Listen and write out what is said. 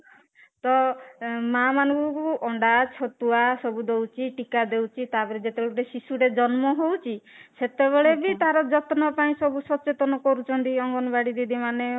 ତ ମା ମାନଙ୍କୁ ଅଣ୍ଡା ଛତୁଆ ସବୁ ଦଉଛି ଟୀକା ଦଉଛି ତାପରେ ଯେତେ ବେଳେ ଗୋଟେ ଶିଶୁ ଟେ ଜନ୍ମ ହଉଛି ସେତେ ବେଳେ ବି ତାର ଯତ୍ନ ପାଇଁ ସବୁ ସଚେତନ କରୁଛନ୍ତି ଅଙ୍ଗନବାଡି ଦିଦି ମାନେ